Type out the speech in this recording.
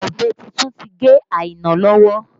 Ọ̀bẹ tuntun ti gé Aina lọ́wọ́